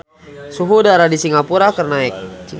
Suhu udara di Singapura keur naek